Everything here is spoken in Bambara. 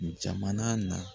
Jamana na